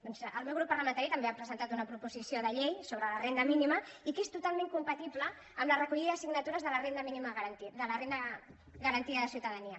doncs el meu grup parlamentari també ha presentat una proposició de llei sobre la renda mínima que és totalment compatible amb la recollida de signatures de la renda garantida de ciutadania